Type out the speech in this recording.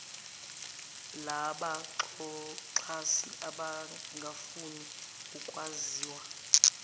labaxhasi abangafuni ukwaziwa